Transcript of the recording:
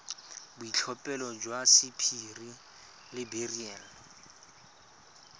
boitlhophelo jwa sapphire le beryl